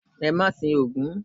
E ma sín ogún